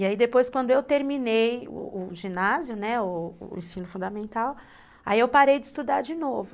E aí depois, quando eu terminei o ginásio, né, o ensino fundamental, aí eu parei de estudar de novo.